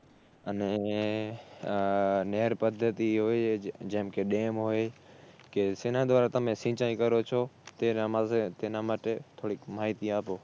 અને નેર પદ્ધતિ હોય જ જેમકે Dam હોય કે જેના દ્વારા તમે સિંચાઇ કરો છો તેના તેના માટે થોડીક માહિતી આપો